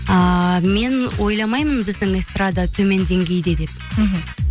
ыыы мен ойламаймын біздің эстрада төмен деңгейде деп мхм